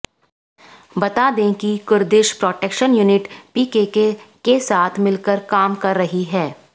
बता दें कि कुर्दिश प्रोटेक्शन यूनिट पीकेके के साथ मिलकर काम कर रही है